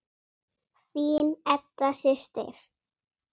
Þín Edda systir.